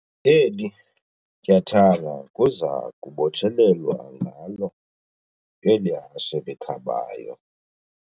Eli tyathanga kuza kubotshelelwa ngalo eli hashe likhabayo.